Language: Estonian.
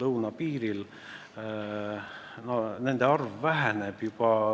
lõunapiiril, on juba väga ammu hakanud vähenema.